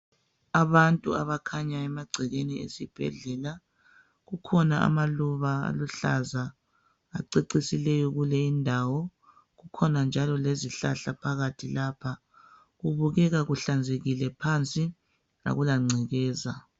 Abantu abakhanyayo emagcekeni esibhedlela, kukhona amaluba aluhlaza acecisileyo kuleyi indawo kukhona njalo lezihlahla phakathi lapha kubukeka kuhlanzekile phansi akula ngcekeza.